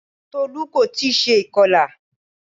Tolú kò tí ì se ìkọlà